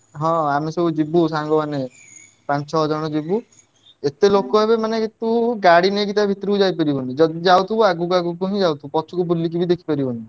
ହଁ ଆମେ ସବୁ ଯିବୁ ସାଙ୍ଗ ମାନେ ପାଞ୍ଚ ଛଅ ଜଣ ଯିବୁ ଏତେ ଲୋକ ହେବେ ମାନେ ତୁ ଗାଡି ନେଇକି ଭିତରକୁ ଯାଇପାରିବୁନି, ଯଦି ଯାଉଥିବୁ ଆଗକୁ ଆଗକୁ ହିଁ ଯାଉଥିବୁ ପଛକୁ ବୁଲିକି ଦେଖିପାରିବୁନି।